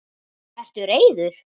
Ertu reiður?